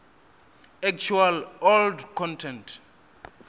actual old content